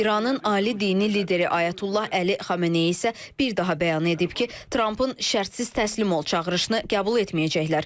İranın ali dini lideri Ayətullah Əli Xameneyi isə bir daha bəyan edib ki, Trampın şərtsiz təslim ol çağırışını qəbul etməyəcəklər.